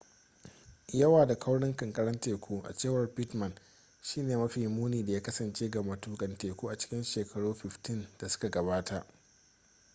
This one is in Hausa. yawa da kaurin kankarar teku a cewar pittman shi ne mafi muni da ya kasance ga matukan teku a cikin shekaru 15 da suka gabata